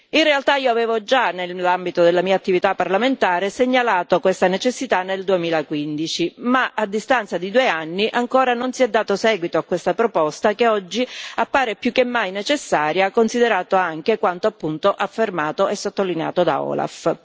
In realtà avevo già, nell'ambito della mia attività parlamentare, segnalato questa necessità nel 2015 ma, a distanza di due anni, ancora non si è dato seguito a questa proposta, che oggi appare più che mai necessaria, considerato anche quanto appunto affermato e sottolineato dall'OLAF.